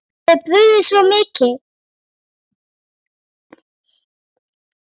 Henni hafði brugðið svo mikið.